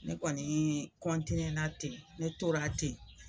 Ne kɔnii na ten, ne tora ten